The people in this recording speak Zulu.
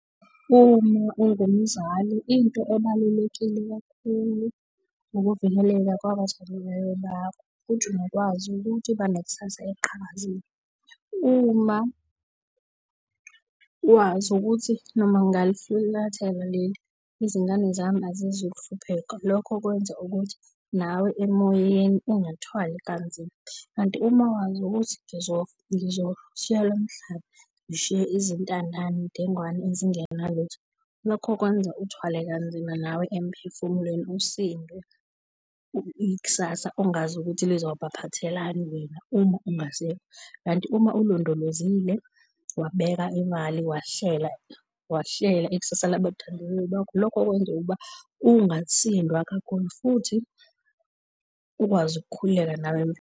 Uma ungumzali, into ebalulekile kakhulu ukuvikeleka kwabathandiweyo bakho futhi nokwazi ukuthi banekusasa eliqhakazile. Uma wazi ukuthi noma ngingalifulathela leli izingane zami azizukuhlupheka. Lokho kwenza ukuthi nawe emoyeni ungathwali kanzima. Kanti uma wazi ukuthi ngizoshiya lo mhlaba ngishiye izintandane, dengwane ezingenalutho, lokho kwenza uthwale kanzima nawe emphefumulweni usindwe ikusasa ongazi ukuthi lizobaphathelani wena uma ungasekho. Kanti uma ulondolozile wabeka imali, wahlela wahlela ikusasa labathandiweyo bakho lokho kwenza ukuba ungasindwa kakhulu futhi ukwazi ukukhululeka nawe emphefumulweni.